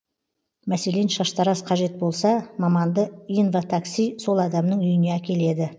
мәселен шаштараз қажет болса маманды инватакси сол адамның үйіне әкеледі